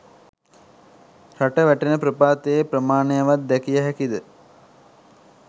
රට වැටෙන ප්‍රපාතයේ ප්‍රමාණයවත් දැකිය හැකිද?